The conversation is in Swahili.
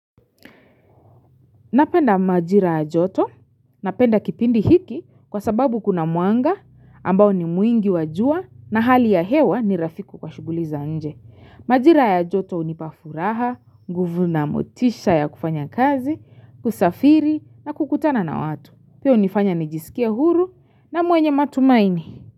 Na penda majira yajoto na penda kipindi hiki kwa sababu kuna muanga ambao ni mwingi wajua na hali ya hewa ni rafiku kwa shuguliza nje. Majira yajoto unipafuraha, nguvu na motisha ya kufanya kazi, kusafiri na kukutana na watu. Piyo unifanya nijisikia huru na mwenye matumaini.